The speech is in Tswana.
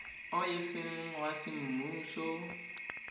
o e seng wa semmuso